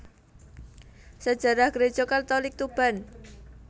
Sejarah Gereja Katolik Tuban